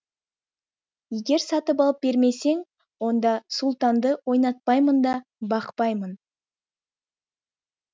егер сатып алып бермесең онда сұлтанды ойнатпаймын да бақпаймын